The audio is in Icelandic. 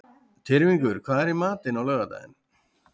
Tyrfingur, hvað er í matinn á laugardaginn?